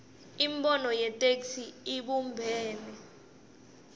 imibono yetheksthi ibumbene